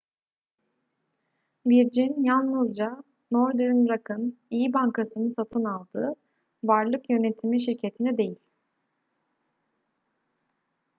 virgin yalnızca northern rock'ın iyi bankasını satın aldı varlık yönetimi şirketini değil